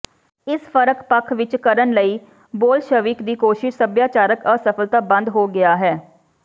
ਇਸ ਫ਼ਰਕ ਪੱਖ ਵਿਚ ਕਰਨ ਲਈ ਬੋਲਸ਼ਵਿਕ ਦੀ ਕੋਸ਼ਿਸ਼ ਸੱਭਿਆਚਾਰਕ ਅਸਫਲਤਾ ਬੰਦ ਹੋ ਗਿਆ ਹੈ